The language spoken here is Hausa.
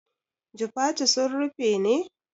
Jifatu sun rufe ne?